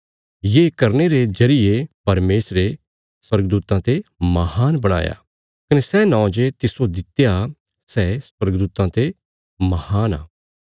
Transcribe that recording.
ये करने रे जरिये परमेशरे पुत्रा जो स्वर्गदूतां ते महान बणाया कने सै नौं जे तिस्सो दित्या सै स्वर्गदूतां ते महान आ